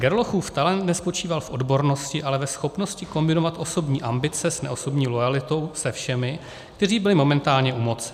Gerlochův talent nespočíval v odbornosti, ale ve schopnosti kombinovat osobní ambice s neosobní loajalitou se všemi, kteří byli momentálně u moci.